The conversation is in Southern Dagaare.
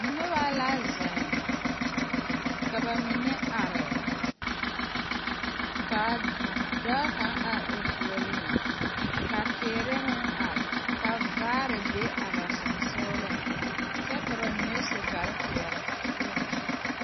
Noba la zeŋ ka ba mine are ka dɔɔ kaŋ are o puoriŋ ka teere meŋ are ka vaare be a ba sensɔgleŋ kyɛ ka ba mine su kpare peɛle.